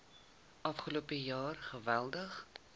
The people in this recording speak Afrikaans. afgelope jaar geweldig